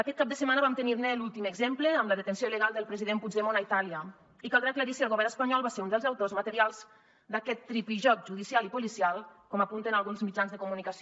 aquest cap de setmana vam tenirne l’últim exemple amb la detenció il·legal del president puigdemont a itàlia i caldrà aclarir si el govern espanyol va ser un dels autors materials d’aquest tripijoc judicial i policial com apunten alguns mitjans de comunicació